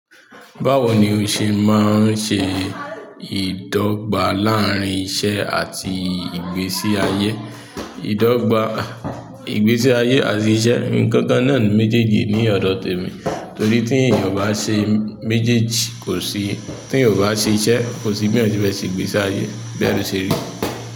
Báwo ni o ṣe máa ń ṣe ìdọ́gba láàrín iṣẹ́ àti ìgbésí ayé. Ìdọ́gba, ìgbésí ayé àti iṣẹ́, ǹǹkan kan náà ni méjéèjì ní ọ̀dọ̀ tèmi, torí tí èèyàn ò bá ṣe méjéèjì kòsí— tí èèyàn ò bá ṣe iṣẹ́, kòsí bí èèyàn ṣe fẹ́ ṣe ìgbésí ayé, bẹ́ẹ̀ ló ṣe rí.